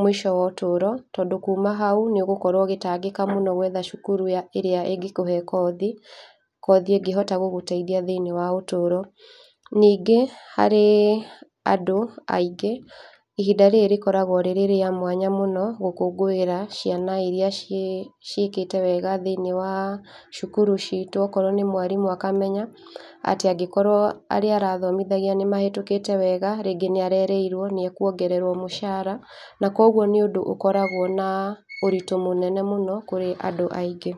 mũico wa ũtũro, tondũ kũma haũ nĩũgũkorwo ũgĩtangĩka mũno gwetha cũkũrũ ya ĩrĩa ĩngĩkũhe kothi, kothi ĩngĩhota gũgũteithia thĩinĩ wa ĩtũro. Ningĩ harĩ andũ aingĩ, ihinda rĩrĩ rĩkoragwo rĩrĩ rĩa mwanya mũno gũkũngũĩra ciana irĩa ciĩ ciĩkĩte wega thĩinĩ wa cũkũrũ citũ. Okorwo nĩ mwarimũ akamenya atĩ angĩkorwo arĩa arathomithagia nĩmahetũkĩte wega, rĩngĩ nĩarerĩirwo nĩekũongererwo mũcara na kũogũo nĩ ũndũ ũkoragwo na ũritũ mũnene mũno kũrĩ andũ aingĩ.